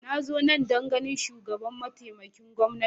Na zo nan don ganin mataimakin shugaban gwamnati